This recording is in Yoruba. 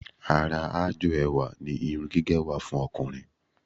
Ara aájò ẹwà ni irun gígẹ̀ wà fún ọkùnrin